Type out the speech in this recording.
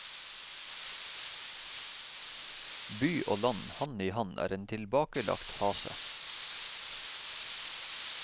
By og land hand i hand er en tilbakelagt fase.